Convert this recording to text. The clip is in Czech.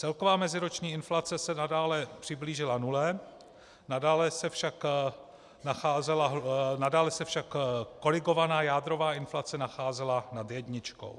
Celková meziroční inflace se nadále přiblížila nule, nadále se však korigovaná jádrová inflace nacházela nad jedničkou.